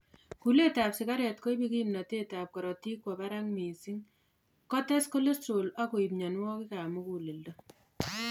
Kulet ab sigaret koibu kimtotet ab korotik kowo barakak missing , kotes cholesterol akoib myonwokik ab mugulleldo